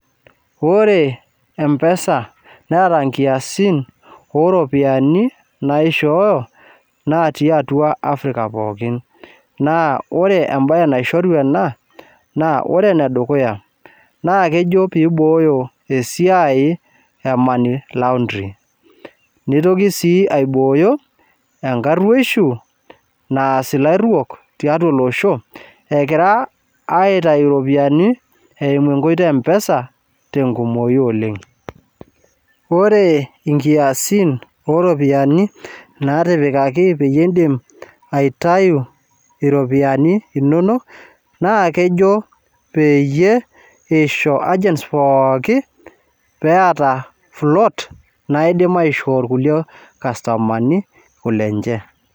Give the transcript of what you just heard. Ore mpesa neeta nkiasin oo ropiyiani naishooyo natii atwa Africa pookin. Naa ore embae naishoru ena naa ore enedukuya naa kejo peibooyo esiai e money laundry neitoki sii aibooyo enkarrwoishu naas ilarrwok tiatwa olosho egira aitayu iropiyiani eimu enkoitoi e mpesa tenkumoi oleng. Ore inkiasin ooropiyiani naatipikaki peyie iindim aitayu iropiyiani inonok na kejo peyie isho agents pookin peata float naidim aishoi kulie kastomani kulenche